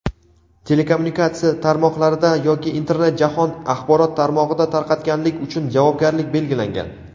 telekommunikatsiya tarmoqlarida yoki Internet jahon axborot tarmog‘ida tarqatganlik uchun javobgarlik belgilangan.